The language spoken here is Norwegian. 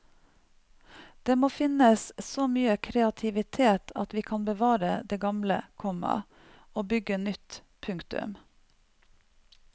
Det må finnes så mye kreativitet at vi kan bevare det gamle, komma og bygge nytt. punktum